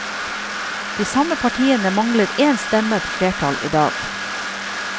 De samme partiene mangler én stemme på flertall i dag.